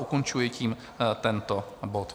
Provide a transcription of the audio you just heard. Ukončuji tím tento bod.